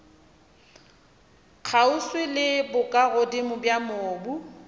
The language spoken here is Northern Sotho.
kgauswi le bokagodimo bja mobu